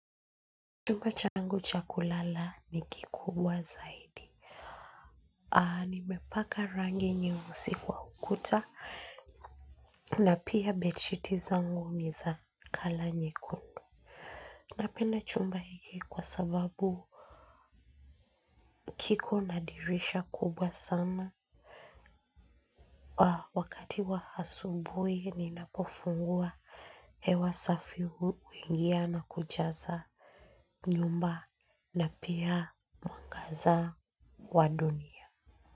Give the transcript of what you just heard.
Chumba changu chakulala nikikubwa zaidi. Aa nimepaka rangi nyeusi kwa ukuta. Na pia bedsheet zangu niza kala nye kundu. Napenda chumba hiki kwa sababu kiko nadirisha kubwa sana. Wa wakati wa asubuhi ninapofungua hewa safi huingia na kujaza nyumba na pia mwangaza wa dunia.